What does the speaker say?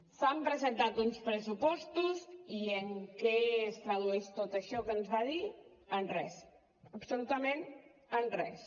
s’han presentat uns pressupostos i en què es tradueix tot això que ens va dir en res absolutament en res